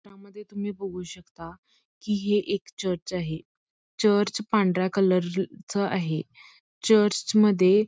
त्रामध्ये तुम्ही बघू शकता कि हे एक चर्च आहे चर्च पांढऱ्या कलरच आहे चर्चमध्ये--